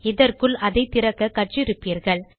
இதற்குள் அதை திறக்க கற்று இருப்பீர்கள்